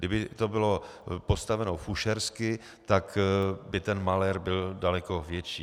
Kdyby to bylo postaveno fušersky, tak by ten malér byl daleko větší.